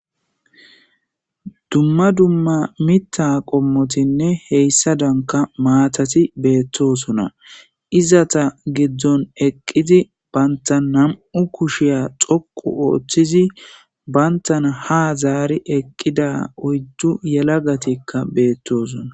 Dumma dumma miththa qommottine hessadanka maatati beetosonn izat guddon eqqidi baanta namm'u kushiyan dhooqu oothidi banthana ha zaari eqqida oyddu yeelagatika beetossona